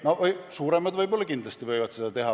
Suuremad kindlasti võivad seda teha.